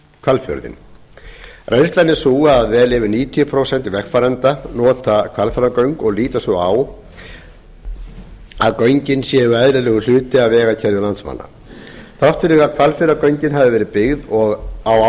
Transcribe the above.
hvalfjörðinn reynslan er sú að vel yfir níutíu prósent vegfarenda nota hvalfjarðargöng og líta svo á að göngin séu eðlilegur hluti af vegakerfi landsmanna þrátt fyrir að hvalfjarðargöng hafi verið byggð á